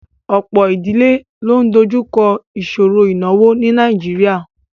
Ọ̀pọ̀ ìdílé ló ń dojú kọ ìṣòro ìnáwó ní Nàìjíríà